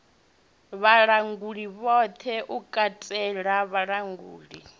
vhalanguli vhoṱhe u katela vhalanguli